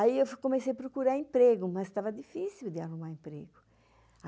Aí eu comecei a procurar emprego, mas estava difícil de arrumar emprego.